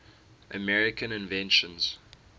american inventions